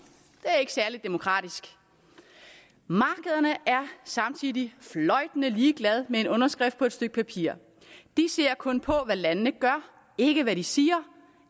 det er ikke særlig demokratisk markederne er samtidig fløjtende ligeglade med en underskrift på et stykke papir de ser kun på hvad landene gør ikke hvad de siger